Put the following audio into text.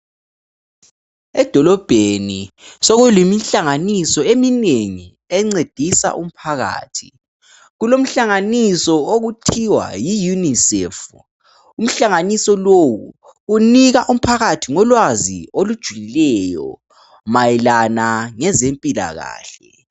Edolobheni sokukemihlanganiso eminengi encedisa umphakathi. Kulomhlanganiso okuthiwa Yi UNICEF umhlanganiso lowu unika ulwazi olujulileyo mayelana ngezempilakahle